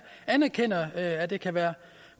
anerkender at det kan være